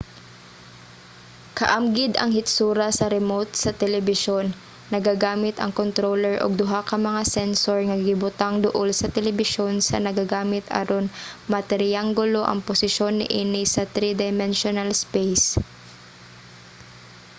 kaamgid ang hitsura sa remote sa telebisyon nagagamit ang controller og duha ka mga sensor nga gibutang duol sa telebisyon sa nagagamit aron matriyanggulo ang posisyon niini sa three-dimensional space